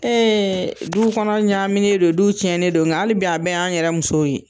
duw kɔnɔ ɲaamini don, duw cɛnnen don, nga hali bi a bɛɛ y'an yɛrɛ musow ye.